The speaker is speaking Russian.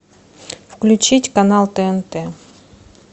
включить канал тнт